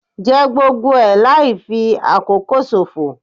Jẹ gbogbo ẹ̀ láì fi àkókò ṣòfò.